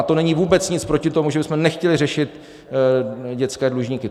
A to není vůbec nic proti tomu, že bychom nechtěli řešit dětské dlužníky.